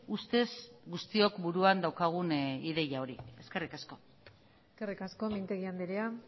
ustez guztiok buruan daukagun ideia hori eskerrik asko eskerrik asko mintegi andrea